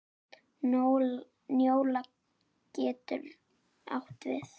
Njóla getur átt við